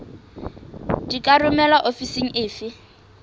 di ka romelwa ofising efe